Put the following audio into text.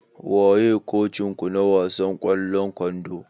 Waye kocin ku na wasan ƙwallon kwando?